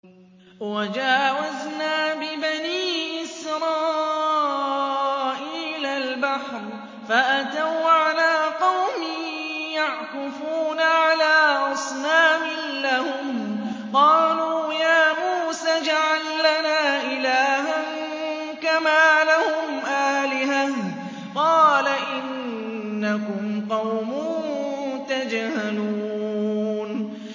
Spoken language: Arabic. وَجَاوَزْنَا بِبَنِي إِسْرَائِيلَ الْبَحْرَ فَأَتَوْا عَلَىٰ قَوْمٍ يَعْكُفُونَ عَلَىٰ أَصْنَامٍ لَّهُمْ ۚ قَالُوا يَا مُوسَى اجْعَل لَّنَا إِلَٰهًا كَمَا لَهُمْ آلِهَةٌ ۚ قَالَ إِنَّكُمْ قَوْمٌ تَجْهَلُونَ